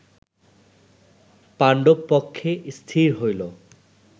পাণ্ডব পক্ষে স্থির হইল